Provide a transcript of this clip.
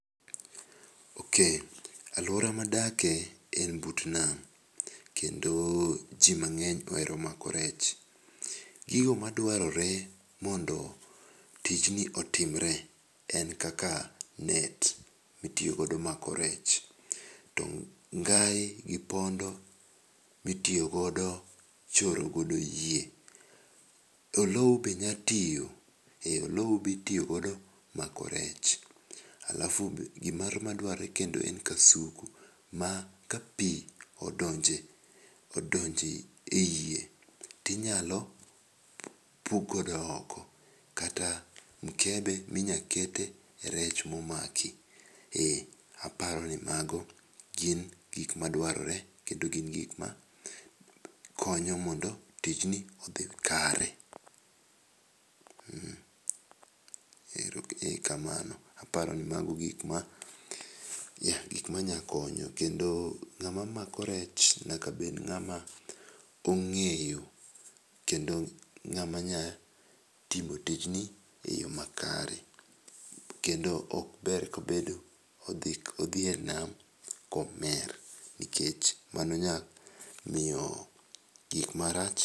Ok, alwora madake en but nam kendo jimang'eny ohero mako rech. Gigo madwarore mondo tijni otimre en kaka net mitiyodo mako rech. To ngai gi pondo mitiyogodo choro godo yie, olou be nya tiyo, eh olou bitiyogodo mako rech. Alafu gimoro madwarre kendo en kasuku ma ka pi odonje ei yie tinyalo pukgodo oko kata mkebe minyakete rech momaki. Eh, aparo ni mago gin gik madwarore kendo gin gik ma konyo mondo tijni odhi kare. Mmh, ero kamano aparo ni mago gikma gikmanyakonyo, kendo ng'ama mako rech nyaka bed ng'ama ong'eyo kendo ng'ama nya timo tijni e yo makare. Kendo ok ber kobedo odhi e nam komer, nikech mano nyamiyo gik marach.